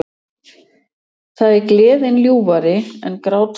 Það er Gleðin ljúfari en grátstafir